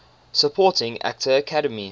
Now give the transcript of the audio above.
supporting actor academy